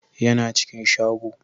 ya na cikin shago